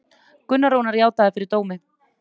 Gunnar Rúnar játaði fyrir dómi